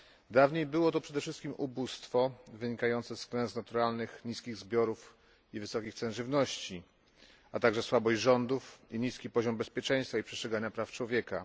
Dawniej było to przede wszystkim ubóstwo wynikające z klęsk naturalnych, z niskich zbiorów i wysokich cen żywności, a także słabość rządów i niski poziom bezpieczeństwa i przestrzegania praw człowieka.